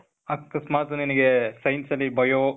ಅಕಸ್ಮಾತ್ ನಿನಿಗೆ science ಅಲ್ಲಿ bio